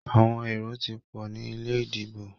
Àwọn èrò tí pọ̀ ní ilé ìdìbò.